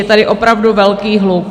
Je tady opravdu velký hluk.